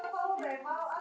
Og hvað segir það okkur?